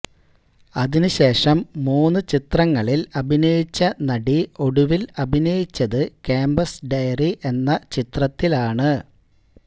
അതിന് ശേഷം മൂന്ന് ചിത്രങ്ങളില് അഭിനയിച്ച നടി ഒടുവില് അഭിനയിച്ചത് ക്യാംപസ് ഡയറി എന്ന ചിത്രത്തിലാണ്